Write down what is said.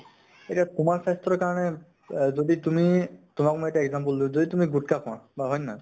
এতিয়া তোমাৰ স্বাস্থ্য়ৰ কাৰণে অ যদি তুমি । তোমাক মই এটা example দিওঁ, যদি তুমি গুত্খা খোৱা বা অন্য়